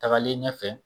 Tagalen ɲɛfɛ